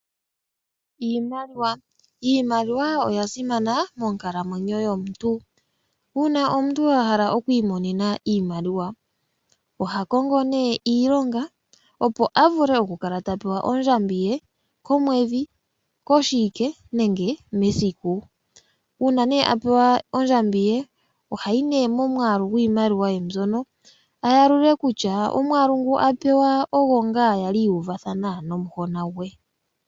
Iimaliwa oyasimana monkalamwenyo yomuntu, uuna omuntu ahala okwiimonena iimaliwa ohakongo iilonga opo akale tapewa ondjambi ye komwedhi, koshiwike nenge mesiku, uuna née apewa ondjambi ye ohayalula iimaliwa ndjoka apewa opo akwashilipaleke kutya omwaalu gwiimaliwa otagu tsu ngaa kumwe naangu ali atulapo nomuhona gwe.